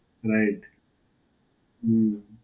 right. હમ્મ.